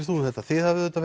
þú um þetta þið hafið auðvitað